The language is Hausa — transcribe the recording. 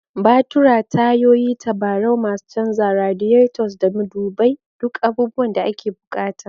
Batura, tayoyi, tabarau, masu canzawa, radiators, da madubai duk abubuwan da ake bukata.